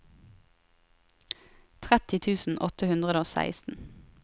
tretti tusen åtte hundre og seksten